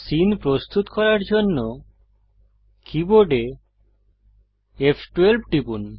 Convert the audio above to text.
scene প্রস্তুত করার জন্য কীবোর্ডে ফ12 টিপুন